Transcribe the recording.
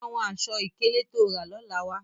Mu àṣọ-ikele tó ó rà lọ́lá wa!